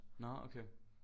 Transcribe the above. Nåh okay